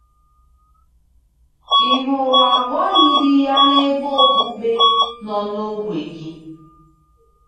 Ị̀ hụrụ àgwà yiri ya n'ebe okpukpe nọ n'ógbè gị?